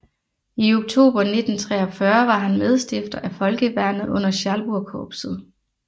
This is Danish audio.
I oktober 1943 var han medstifter af Folkeværnet under Schalburgkorpset